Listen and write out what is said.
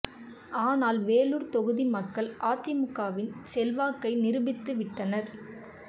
ஆனால் வேலூர் தொகுதி மக்கள் அதிமுகவின் செல்வாக்கை நிறுபித்து வி்ட்டனர்